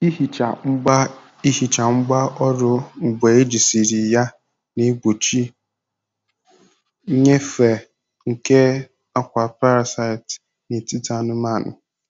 Ihicha ngwá Ihicha ngwá ọrụ mgbe ejisiri ya na-egbochi nnyefe nke akwa parasite n'etiti anụmanụ.